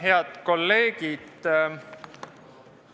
Head kolleegid!